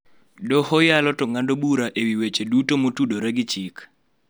Doho yalo to ng'ado bura e wi weche duto motudore gi chik.